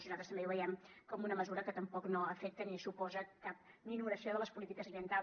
i nosaltres també ho veiem com una mesura que tampoc no afecta ni suposa cap minoració de les polítiques ambientals